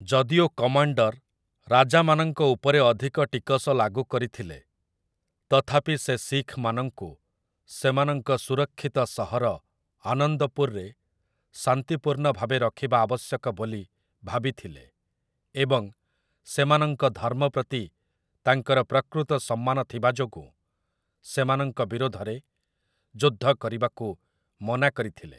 ଯଦିଓ କମାଣ୍ଡର ରାଜାମାନଙ୍କ ଉପରେ ଅଧିକ ଟିକସ ଲାଗୁ କରିଥିଲେ, ତଥାପି ସେ ଶିଖମାନଙ୍କୁ ସେମାନଙ୍କ ସୁରକ୍ଷିତ ସହର ଆନନ୍ଦପୁରରେ ଶାନ୍ତିପୂର୍ଣ୍ଣ ଭାବେ ରଖିବା ଆବଶ୍ୟକ ବୋଲି ଭାବିଥିଲେ, ଏବଂ ସେମାନଙ୍କ ଧର୍ମ ପ୍ରତି ତାଙ୍କର ପ୍ରକୃତ ସମ୍ମାନ ଥିବା ଯୋଗୁଁ ସେମାନଙ୍କ ବିରୋଧରେ ଯୁଦ୍ଧ କରିବାକୁ ମନା କରିଥିଲେ ।